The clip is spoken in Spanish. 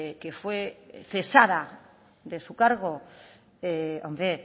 que fue cesada de su cargo hombre